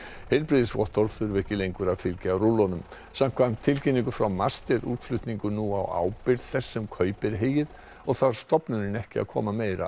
heilbrigðisvottorð þurfa ekki lengur að fylgja rúllunum samkvæmt tilkynningu frá MAST er útflutningur nú alfarið á ábyrgð þess sem kaupir heyið og þarf stofnunin ekki að koma meira